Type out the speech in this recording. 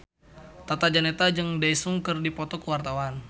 Tata Janeta jeung Daesung keur dipoto ku wartawan